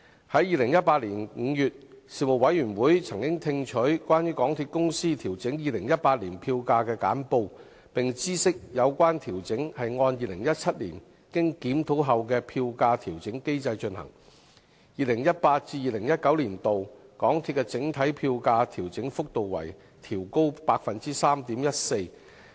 在2018年5月，事務委員會曾聽取關於港鐵公司調整2018年票價的簡報，並知悉有關調整是按2017年經檢討後的票價調整機制進行 ，2018-2019 年度港鐵的整體票價調整幅度為調高 3.14%。